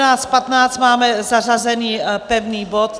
Na 14.15 máme zařazen pevný bod.